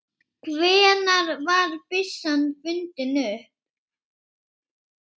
Hvenær var byssan fundin upp?